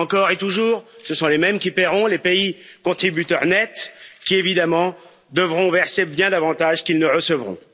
Encore et toujours, ce sont les mêmes qui paieront, les pays contributeurs nets, qui, évidemment, devront verser bien davantage qu'ils ne recevront.